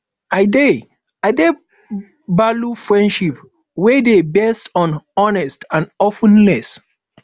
i dey dey value friendship wey dey based on honesty and openness